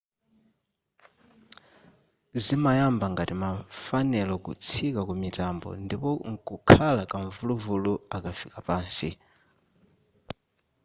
zimayamba ngati ma fanelo kutsika kumitambo ndipo nkukhala kamvuluvulu akafika pansi